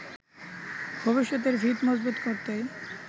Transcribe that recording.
ভবিষ্যতের ভিত মজবুত করতেই